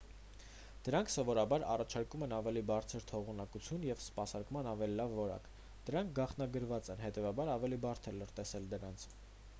դրանք սովորաբար առաջարկում են ավելի բարձր թողունակություն և սպասարկման ավելի լավ որակ դրանք գաղտնագրված են և հետևաբար ավելի բարդ է լրտեսել դրանց